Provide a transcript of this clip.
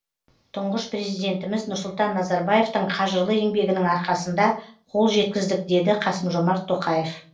тұңғыш президентіміз нұрсұлтан назарбаевтың қажырлы еңбегінің арқасында қол жеткіздік деді қасым жомарт тоқаев